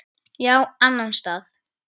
Já, annan stað.